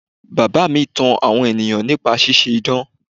Bàbá mi tan àwọn ènìyàn nípa ṣíṣe idán.